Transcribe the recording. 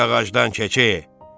Düş ağacdan keçi.